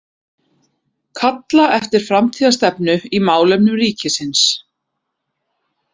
Kalla eftir framtíðarstefnu í málefnum ríkisins